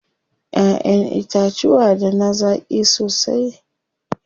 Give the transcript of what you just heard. Ƴaƴen itacuwa da na zaƙi sosai.